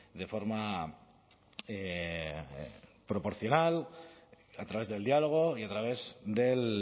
de forma proporcional a través del diálogo y a través del